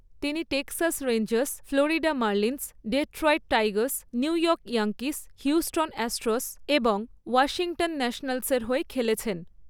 তিনি Texas Rangers, Florida Marlins, Detroit Tigers, New York Yankees, Houston Astros এবং Washington ন্যাশনালসের হয়ে খেলেছেন।